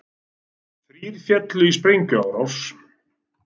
Þrír féllu í sprengjuárás